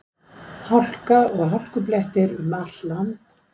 Hálka og hálkublettir um allt land